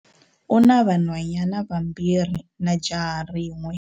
U na vanhwanyana vambirhi na jaha rin'we.